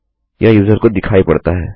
यह यूजर को दिखाई पड़ता है